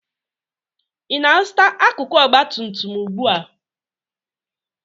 Ị na-azụta akụkụ ọgba tum tum ugbu a?